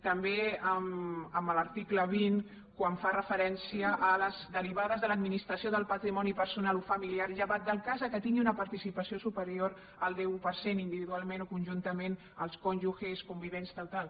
també a l’article vint quan fa referència a les derivades de l’administració del patrimoni personal o familiar llevat del cas que tingui una participació superior al deu per cent individualment o conjuntament amb llurs cònjuges convivents tal tal